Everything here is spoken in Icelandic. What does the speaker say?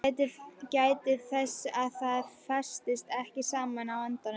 Gætið þess að það festist ekki saman á endunum.